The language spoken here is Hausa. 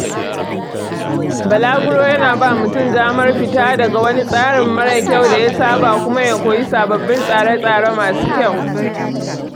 Balaguro yana ba mutum damar fita daga wani tsari mara kyau da ya saba kuma ya koyi sababbi tsare-tsare masu kyau